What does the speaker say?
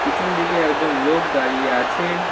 পিছনদিকে একজন লোক দাঁড়িয়ে আছে।